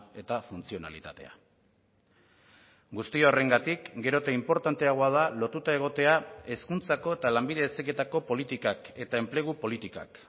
eta funtzionalitatea guzti horrengatik gero eta inportanteagoa da lotuta egotea hezkuntzako eta lanbide heziketako politikak eta enplegu politikak